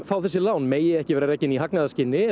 fá þessi lán megi ekki vera rekin í hagnaðarskyni